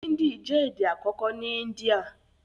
Índì jẹ́ èdè àkọ́kọ́ ní Índíà